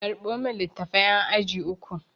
Karɓo min littafan ƴan aji uku!